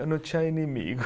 Eu não tinha inimigo